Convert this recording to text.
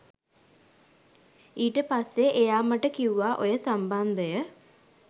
ඊට පස්සේ එයා මට කිව්වා ඔය සම්බන්ධය